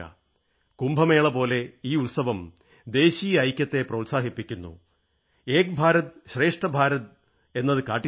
കുംഭമേളപോലെ ഈ ഉത്സവം ദേശീയ ഐക്യത്തെ പ്രോത്സാഹിപ്പിക്കുന്നു ഏക് ഭാരത് ശ്രേഷ്ഠ ഭാരതം എന്നത് കാട്ടിത്തരുന്നു